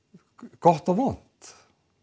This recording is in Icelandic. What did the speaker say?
gott og vont